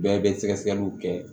Bɛɛ bɛ sɛgɛsɛgɛliw kɛ